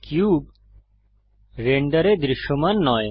cube রেন্ডারে দৃশ্যমান নয়